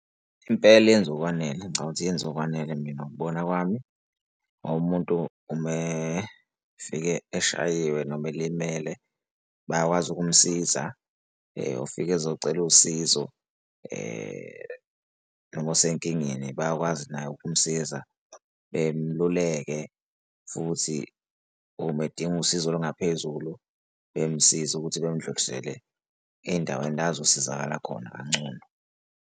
Impela yenza okwanele ngicathi yenza okwanele mina ngokubona kwami umuntu uma efika eshayiwe noma elimele bayakwazi ukumsiza ufika ezocela usizo noma osenkingeni bayakwazi naye ukumsiza bemluleke futhi uma edinga usizo olungaphezulu bemsiza ukuthi bemdlulisele ey'ndaweni la azosizakala khona kangcono.